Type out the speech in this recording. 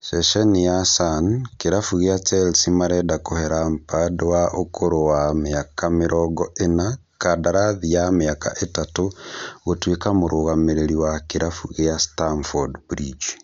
Ceceni ya Sun, kĩrabu gĩa Chelsea marenda kũhe Lampard wa ũkũrũ wa mĩaka mĩrongo ĩna, kandarathi ya mĩaka ĩtatũ gũtuĩka mũrũgamĩrĩri wa kĩrabu gĩa Stamford Bridge